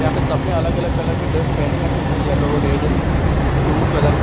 यहाँ पे सब ने अलग अलग कलर के ड्रेस पहने हैं कुछ ने येलो रेड ब्लू कलर के--